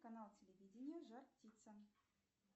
канал телевидения жар птица